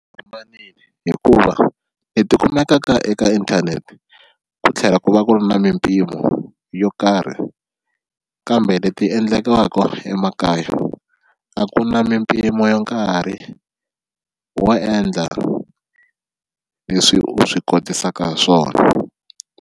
hikuva tikumeka eka inthanete ku tlhela ku va ku ri na mimpimo yo karhi kambe leti endlekaka emakaya a ku na mimpimo ya nkarhi wo endla leswi u swi kotisaku swona.